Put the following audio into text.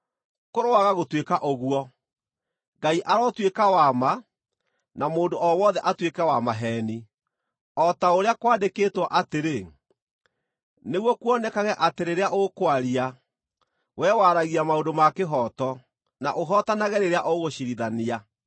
Kũroaga gũtuĩka ũguo! Ngai arotuĩka wa ma, na mũndũ o wothe atuĩke wa maheeni, o ta ũrĩa kwandĩkĩtwo atĩrĩ: “Nĩguo kuonekage atĩ rĩrĩa ũkwaria, wee waragia maũndũ ma kĩhooto, na ũhootanage rĩrĩa ũgũciirithania.”